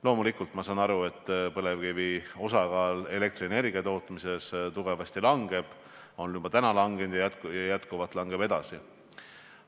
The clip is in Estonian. Loomulikult ma saan aru, et põlevkivi osakaal elektrienergia tootmises tugevasti kahaneb, on täna juba kahanenud ja kahaneb edasi.